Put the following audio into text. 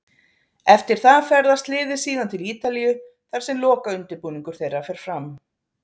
Eftir það ferðast liðið síðan til Ítalíu þar sem lokaundirbúningur þeirra fer fram.